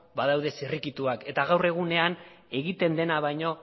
badaude zirrikituak eta gaur egunean egiten dena baino